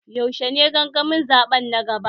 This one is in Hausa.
Yaushe ne gangamin zaɓe na gaba?